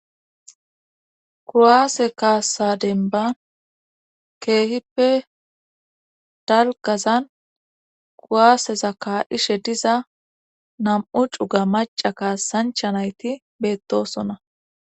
Kuwaase kaassa denba keehippe dalgazan kuwaasezaka ishe diza nam7u cuga maca kaassancha nayti beettosona